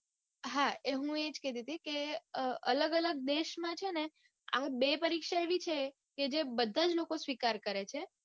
હા મુ એજ કેતી તી કે અલગ અલગ દેશમાં છે ને આ બે પરીક્ષા એવી છે કે જે બધા જ લોકો સ્વીકારે કરે છે